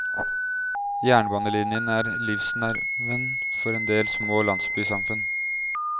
Jernbanelinjen er livsnerven for en del små landsbysamfunn.